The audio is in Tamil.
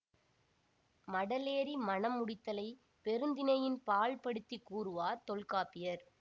மடலேறி மணம் முடித்தலைப் பெருந்திணையின் பால் படுத்தி கூறுவார் தொல்காப்பியர்